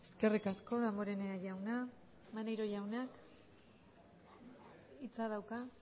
eskerrik asko damborenea jauna maneiro jauna hitza dauka